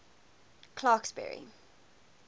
clarksburry